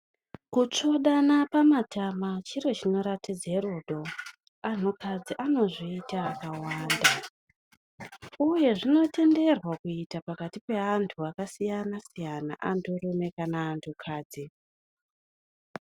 Kutsvodana pamatama chiro chinoratidze rudo. Anhukadzi anozviita akawanda. Uye zvinotenderwa kuita pakati peantu akasiyana-siyana, anturume kana antukadzi.